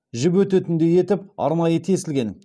жіп өтетіндей етіп арнайы тесілген